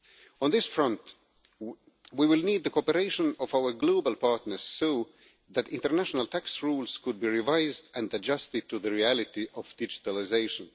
On this front, we will need the cooperation of our global partners so that international tax rules could be revised and adjusted to the reality of digitalisation.